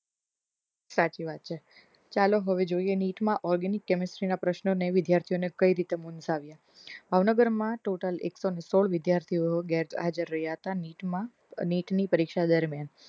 સાચી વાત છે ચાલો હવે જોઈએ નીટ મા organic chemistry ના પ્રશ્નો વિદ્યાર્થીઓને કઈ રીતે મુન્જવીએ ભાવનગર માં ટોટલ એક સો સોળ વિદ્યાર્થીઓ હાજર રહ્યા હતા નીટ માં નીટ ની પરીક્ષા દરમિયાન